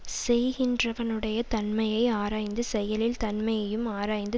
செய்கின்றவனுடைய தன்மையை ஆராய்ந்து செயலின் தன்மையையும் ஆராய்ந்து